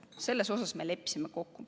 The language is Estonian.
Selles me leppisime kokku.